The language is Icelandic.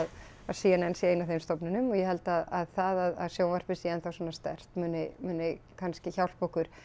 c n n sé ein af þeim stofnunum og ég held að það að sjónvarpið sé enn þá svona sterkt muni muni kannski hjálpa okkur